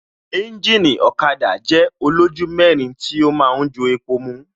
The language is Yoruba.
Ẹ́ńjìnì ọ̀kada jẹ́ olójú mẹ́rin tí ó ma ń jo epo mu